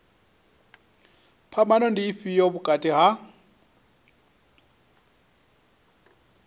phambano ndi ifhio vhukati ha